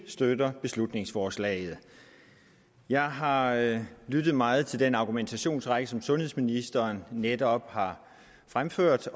støtter beslutningsforslaget jeg har har lyttet meget til den argumentationsrække som sundhedsministeren netop har fremført